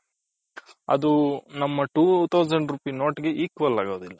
ಅದು ನಮ್ಮ two thousands rupees note equal ಆಗೋದಿಲ್ಲ.